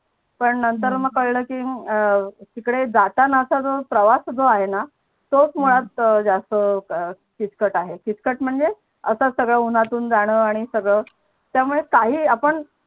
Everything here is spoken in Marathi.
पण नंतर मग कळलं की तिकडे जाताना तर प्रवास जो आहे णा तो मात्र जास्त किचकट आहे किचकट म्हणजे असच सगड उनातून जाण आणि सगड त्यामुळे काही आपण